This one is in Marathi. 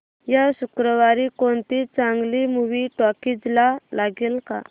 या शुक्रवारी कोणती चांगली मूवी टॉकीझ ला लागेल का